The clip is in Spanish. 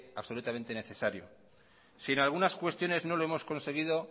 absolutamente necesario si en algunas cuestiones no lo hemos conseguido